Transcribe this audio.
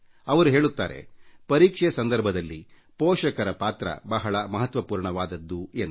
ಅವರು ಬರೆಯುತ್ತಾರೆ ಪರೀಕ್ಷೆ ಸಂದರ್ಭದಲ್ಲಿ ಪೋಷಕರ ಪಾತ್ರ ಬಹಳ ಮಹತ್ವಪೂರ್ಣವಾದದ್ದು ಎಂದು